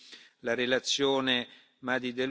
spălare de bani.